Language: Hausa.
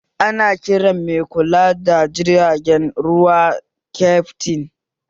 Ana kiran mai kula da jirgin ruwa kyaftin